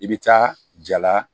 I bɛ taa jala